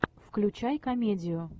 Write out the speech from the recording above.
включай комедию